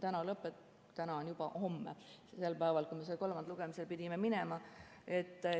Täna on juba homme ehk see päev, kui me kolmandale lugemisele pidime minema.